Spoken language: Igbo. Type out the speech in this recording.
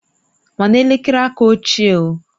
Mana elekere aka ochie o